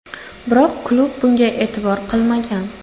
Biroq klub bunga e’tibor qilmagan.